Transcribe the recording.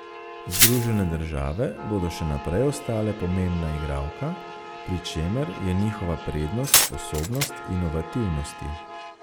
Združene države bodo še naprej ostale pomembna igralka, pri čemer je njihova prednost sposobnost inovativnosti.